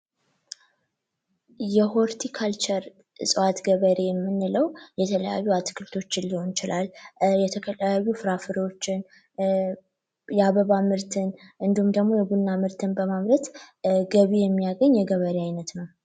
የሆርቲካልቸር እጽዋት ገበሬ ምንለው የተለያዩ አትክልቶችን ሊሆን ይችላል፤ የተለያዩ ፍራፍሬዎችን፤ የአበባ ምርትን እንዲሁም ደግሞ የቡና ምርትን በማምረት ገቢ የሚያግኝ የገበሬ አይነት ነው።